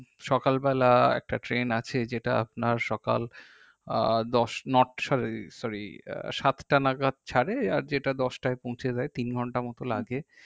সকালবেলা একটা train আছে যেটা আপনার সকাল আহ দশ নট sorry সাতটা নাগাত ছারে আর যেটা দশটায় পৌঁছে যাই তিনঘন্টা মতো লাগে